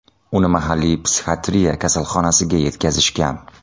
Uni mahalliy psixiatriya kasalxonasiga yetkazishgan.